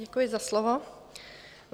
Děkuji za slovo.